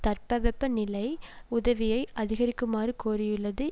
தட்பவெப்ப நிலை உதவியை அதிகரிக்குமாறு கோரியுள்ளது